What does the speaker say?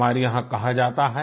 हमारे यहाँ कहा जाता है